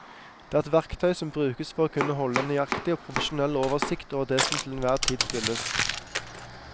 Det er et verktøy som brukes for å kunne holde en nøyaktig og profesjonell oversikt over det som til enhver tid spilles.